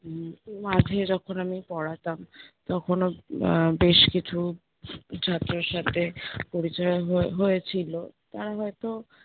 উম মাঝে যখন আমি পড়াতাম, তখনও আহ বেশ কিছু ছাত্রর সাথে পরিচয় হয়ে~ হয়েছিল, তারা হয়তো